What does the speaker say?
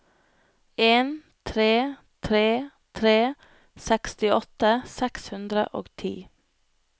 en tre tre tre sekstiåtte seks hundre og ti